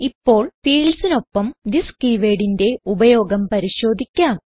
ഇപ്പോൾ fieldsനൊപ്പം തിസ് keywordന്റെ ഉപയോഗം പരിശോധിക്കാം